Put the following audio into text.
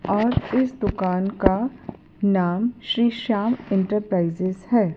और इस दुकान का नाम श्री श्याम इंटरप्राइजेज है।